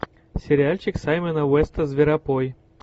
сериальчик саймона уэста зверопой